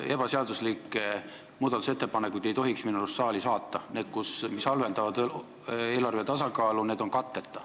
Ebaseaduslikke muudatusettepanekuid ei tohiks minu arust saali saata – need, mis halvendavad eelarve tasakaalu, on katteta.